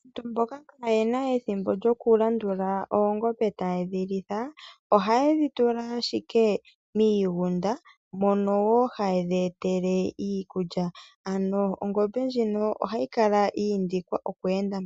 Aantu mboka kaa ye na ethimbo lyoku landula oongombe ta yedhi litha. Oha ye dhi tula ashike miigunda mono woo ha yedhi etele iikulya. Oongombe ohadhi kala dha indikwa oku enda